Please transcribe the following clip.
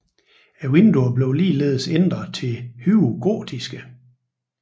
Vinduerne blev ligeledes ændret til høje gotiske